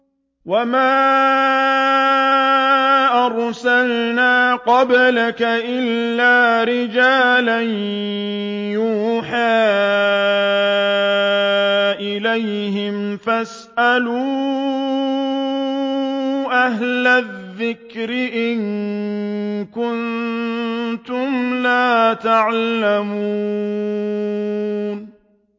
وَمَا أَرْسَلْنَا قَبْلَكَ إِلَّا رِجَالًا نُّوحِي إِلَيْهِمْ ۖ فَاسْأَلُوا أَهْلَ الذِّكْرِ إِن كُنتُمْ لَا تَعْلَمُونَ